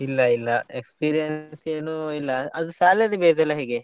ಇಲ್ಲಾ ಇಲ್ಲಾ experience ಏನೂ ಇಲ್ಲಾ ಅದು salary base ಎಲ್ಲಾ ಹೇಗೆ?